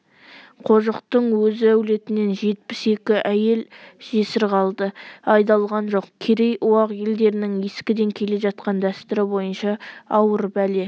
қожықтың өз әулетінен жетпіс екі әйел жесір қалды айдалған жоқ керей-уақ елдерінің ескіден келе жатқан дәстүрі бойынша ауыр бәле